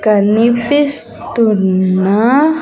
కనిపిస్తున్న.